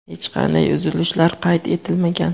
hech qanday uzilishlar qayd etilmagan.